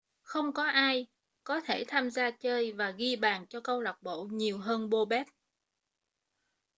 không có ai có thể tham gia chơi và ghi bàn cho câu lạc bộ nhiều hơn bobek